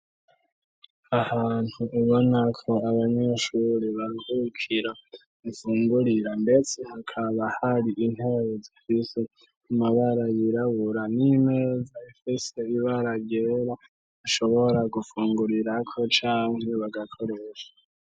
Ahantu ubona ko abanyeshuri baruhukira ufungurira nbetse hakaba hari intebe zifise umabara yirabura n'imeza ifise ibara ryera ashobora gufungurira ko canke bagakoresha.